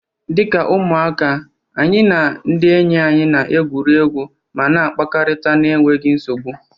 Dị ka ụmụaka, anyị na ndị enyi anyị na-egwuri egwu ma na-akpakọrịta na-enweghi nsogbu.